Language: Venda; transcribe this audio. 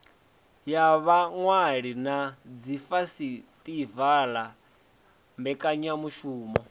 ya vhaṅwali na dzifesitivala mbekanyamishumo